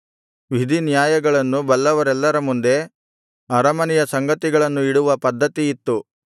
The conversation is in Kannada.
ವಿಧಿನಾಯ್ಯಗಳನ್ನು ಬಲ್ಲವರೆಲ್ಲರ ಮುಂದೆ ಅರಮನೆಯ ಸಂಗತಿಗಳನ್ನು ಇಡುವ ಪದ್ಧತಿಯಿತ್ತು